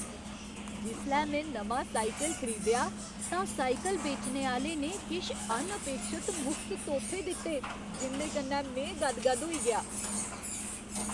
जिसलै में नमां साइकल खरीदेआ तां साइकल बेचने आह्‌ले ने किश अनअपेक्षत मुख्त तोह्फे दित्ते जिं'दे कन्नै में गदगद होई गेआ।